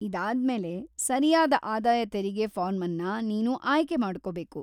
ಇದಾದ್ಮೇಲೆ, ಸರಿಯಾದ ಆದಾಯ ತೆರಿಗೆ ಫಾರ್ಮನ್ನ ನೀನು ಆಯ್ಕೆ ಮಾಡ್ಕೊಬೇಕು.